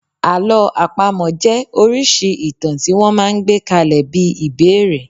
Àlọ́ àpamọ̀ jẹ́ oríṣìí ìtàn tí wọ́n máa ń gbé kalẹ̀ bí ìbẹ́èrè.